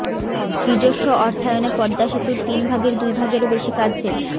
নিজস্ব অর্থায়নে পদ্মা সেতুর তিন ভাগের দুই ভাগেরও বেশি কাজ শেষ